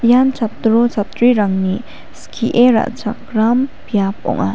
ian chatro chatrirangni skie ra·chakram biap ong·a.